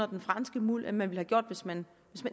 den franske muld end man ville have gjort hvis man